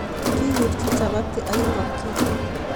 kikurchi chapati ak inkonchet